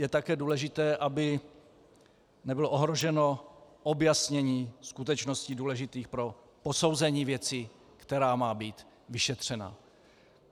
Je také důležité, aby nebylo ohroženo objasnění skutečností důležitých pro posouzení věci, která má být vyšetřena.